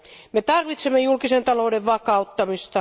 Me tarvitsemme julkisen talouden vakauttamista.